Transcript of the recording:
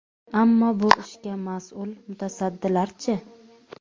Ammo bu ishga mas’ul mutasaddilar-chi?